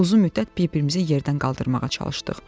Uzun müddət bir-birimizi yerdən qaldırmağa çalışdıq.